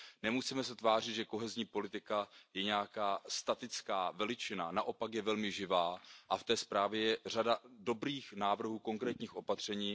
Nemusíme se tvářit, že kohezní politika je nějaká statická veličina, naopak je velmi živá a v té zprávě je řada dobrých návrhů, konkrétních opatření.